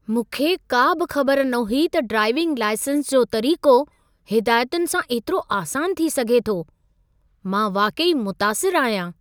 मूंखे का बि ख़बर न हुई त ड्राईविंग लाइसेंस जो तरीक़ो हिदायतुनि सां एतिरो आसान थी सघे थो। मां वाक़ई मुतासिर आहियां!